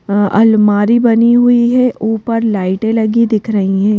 अ अलमारी बनी हुई है ऊपर लाइटें लगी दिख रही हैं।